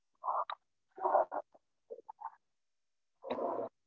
ஆஹ்